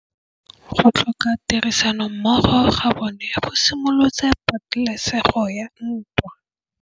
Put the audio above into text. Go tlhoka tirsanommogo ga bone go simolotse patêlêsêgô ya ntwa.